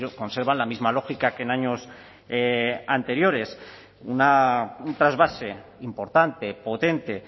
conservan la misma lógica que en años anteriores un trasvase importante potente